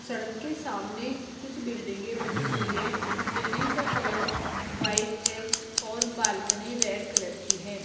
सड़क के सामने कुछ बिल्डिंगे बनी हुई है बिल्डिंग का कलर व्हाइट है और बालकनी रेड कलर की है।